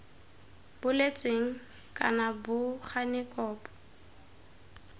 boletsweng kana bo gane kopo